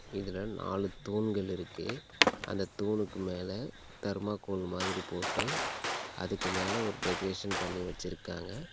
இதுல நாலு தூண்கள் இருக்கு அந்த தூனுக்கு மேல தர்மாகோல் மாதிரி போட்டு அதுக்கு மேல ஒரு டெக்கரேஷன் பண்ணி வெச்சிருக்காங்க.